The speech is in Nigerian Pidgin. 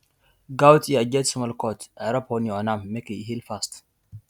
goat ear get small cut i rub honey on am make e heal fast